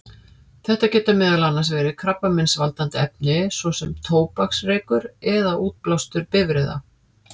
Þetta geta meðal annars verið krabbameinsvaldandi efni, svo sem tóbaksreykur eða útblástur bifreiða.